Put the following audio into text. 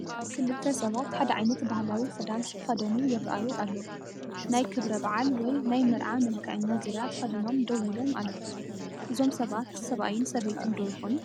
ክልተ ሰባት ሓደ ዓይነት ባህላዊ ክዳን ዝተኸደኑ ይራኣዩ ኣለው፡፡ ናይ ክብረ በዓል ወይ ናይ መርዓ መልከዐኛ ዙርያ ተኸዲኖም ደው ኢሎ ኣለው፡፡ እዞም ሰባት ሰብኣይን ሰበይትን ዶ ይኾኑ?